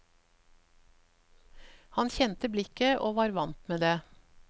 Han kjente blikket og var vant med det.